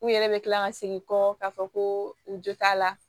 U yɛrɛ bɛ kila ka segin kɔ k'a fɔ ko u jo t'a la